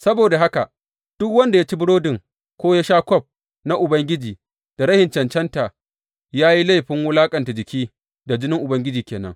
Saboda haka, duk wanda ya ci burodin ko ya sha daga kwaf na Ubangiji da rashin cancanta, ya yi laifin wulaƙanta jiki da jinin Ubangiji ke nan.